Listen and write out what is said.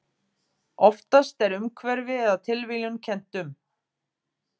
Oftast er umhverfi eða tilviljun kennt um.